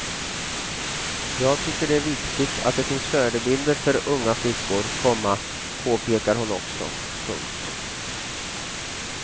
Jag tycker det är viktigt att det finns förebilder för unga flickor, komma påpekar hon också. punkt